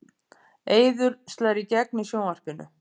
Eiður slær í gegn í sjónvarpinu